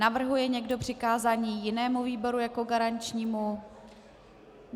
Navrhuje někdo přikázání jinému výboru jako garančnímu?